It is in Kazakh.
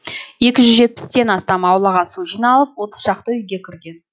екі жүз жетпістен астам аулаға су жиналып отыз шақты үйге кірген